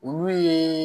Olu ye